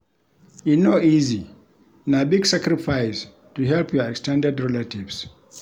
E no easy, na big sacrifice to help your ex ten ded relatives.